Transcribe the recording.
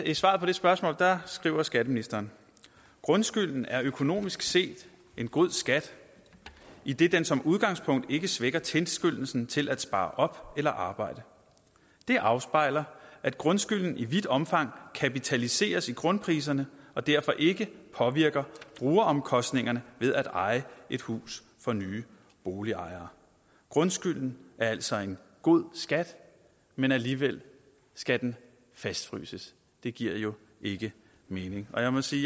i svaret på det spørgsmål skriver skatteministeren grundskylden er økonomisk set en god skat idet den som udgangspunkt ikke svækker tilskyndelsen til at spare op eller arbejde det afspejler at grundskylden i vidt omfang kapitaliseres i grundpriserne og derfor ikke påvirker brugeromkostningerne ved at eje et hus for nye boligejere grundskylden er altså en god skat men alligevel skal den fastfryses det giver jo ikke mening jeg må sige